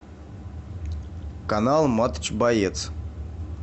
канал матч боец